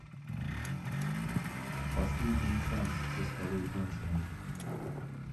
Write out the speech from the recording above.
последний шанс со скалой джонсоном